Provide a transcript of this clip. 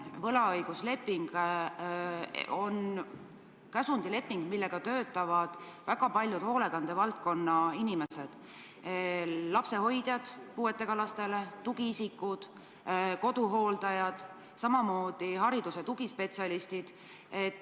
Võlaõigusleping on käsundusleping, mille alusel töötavad väga paljud hoolekandevaldkonna inimesed: puuetega laste lapsehoidjad, tugiisikud, koduhooldajad, samamoodi haridus- ja tugispetsialistid.